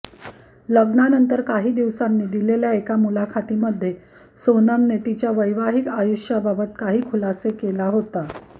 लग्नानंतर काही दिवसांनी दिलेल्या एका मुलाखतीमध्ये सोनमने तिच्या वैवाहिक आयुष्याबाबत काही खुलासे केला होता